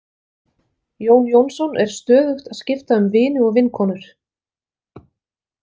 Jón Jónsson er stöðugt að skipta um vini og vinkonur.